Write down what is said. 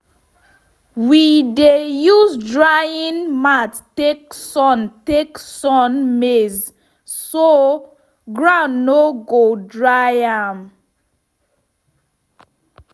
we dey use drying mat take sun take sun maize so ground no go dry am.